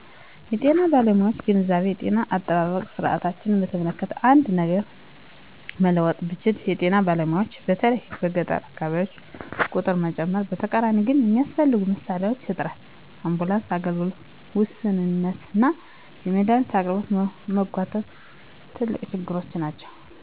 የጤና ባለሙያዎችን ግንዛቤ የጤና አጠባበቅ ስርዓታችንን በተመለከተ አንድ ነገር መለወጥ ብችል የጤና ባለሙያዎችን በተለይም በገጠር አካባቢዎች ቁጥር መጨመር። በተቃራኒው ግን የሚያስፈልጉ መሣሪያዎች እጥረት፣ የአምቡላንስ አገልግሎት ውስንነትና የመድሃኒት አቅርቦት መጓተት ትልቅ ችግሮች ናቸው።